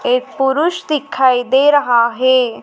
एक पुरुष दिखाई दे रहा है।